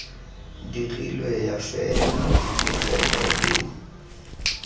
dirilwe ya fela dipegelo le